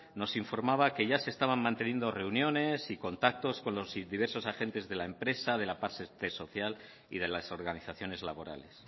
nos informaba que ya se estaban manteniendo reuniones y contactos con los diversos agentes de la empresa de la parte social y de las organizaciones laborales